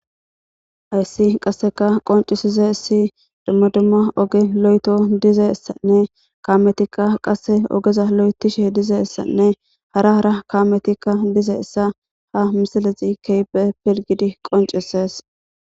Hayssi qasseka qoncisiza issi dumma dumma oge lo7eto dize essanne kaametikka qasse ogeza lo7etishe dize essanne hara hara kaametikka dize issa ha misilezi keybe pilgidi qonceses